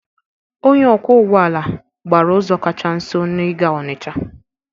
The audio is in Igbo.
Onye ọkwọ ụgbọala gbara ụzọ kacha nso n'ịga Ọnịcha.